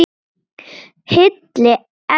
Hilli, elsku Hilli!